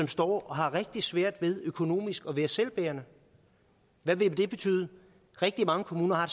står og har rigtig svært ved at økonomisk selvbærende hvad betyder det rigtig mange kommuner har